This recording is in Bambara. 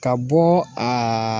Ka bɔ